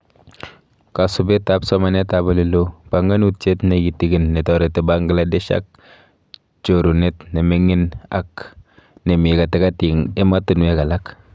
Kasubetab somanetab oleloo:Banganutiet kitiginy netoreti Bangladesh ak chorunet nemingik ak nemii katikati eng ematinwek alak